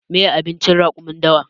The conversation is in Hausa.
Meye abincin raƙumin dawa?